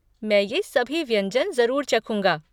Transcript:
मैं ये सभी व्यंजन ज़रूर चखूँगा।